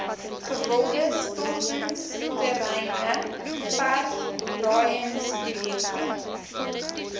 gewilde stortingsterreine verfraaiingsprojekte